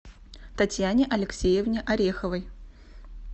татьяне алексеевне ореховой